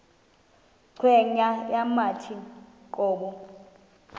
cweya yawathi qobo